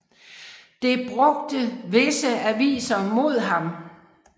Det brugte visse aviser mod ham